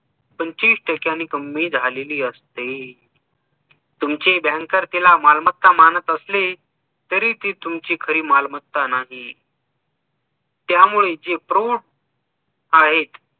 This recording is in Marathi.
तुमची कमी झालेली असते तुमची banker तिला मालमत्ता मानत असले तरी ती तुमच खरी मालमत्ता नाही त्यामुळे जे प्रोब आहेत